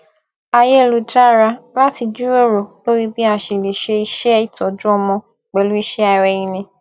ayélujára láti jíròrò lórí bí a ṣe lè ṣe iṣẹ ìtọjú ọmọ pẹlú iṣẹ ara ẹni